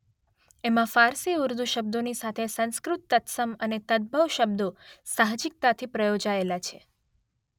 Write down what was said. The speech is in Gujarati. એમાં ફારસી-ઉર્દૂ શબ્દોની સાથે સંસ્કૃત તત્સમ અને તદભવ શબ્દો સાહજિકતાથી પ્રયોજાયેલા છે.